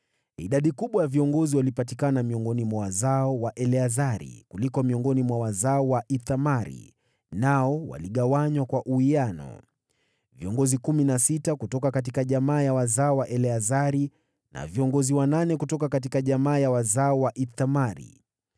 Idadi kubwa ya viongozi walipatikana miongoni mwa wazao wa Eleazari, kuliko miongoni mwa wazao wa Ithamari, nao waligawanywa kwa uwiano: Viongozi kumi na sita kutoka jamaa ya wazao wa Eleazari na viongozi wanane kutoka jamaa ya wazao wa Ithamari.